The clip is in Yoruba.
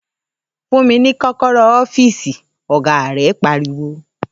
‘Fún mi ní kó̩kó̩ró̩ ó̩fíìsì!’, ò̩gá rè̩ pariwo